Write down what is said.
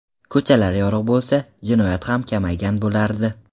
Ko‘chalar yorug‘ bo‘lsa, jinoyat ham kamaygan bo‘lardi.